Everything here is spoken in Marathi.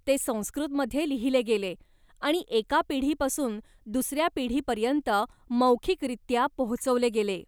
ते संस्कृतमध्ये लिहिले गेले आणि एका पिढीपासून दुसऱ्या पिढीपर्यंत मौखिकरीत्या पोहोचवले गेले.